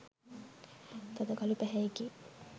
තද කළු පැහැයෙකි.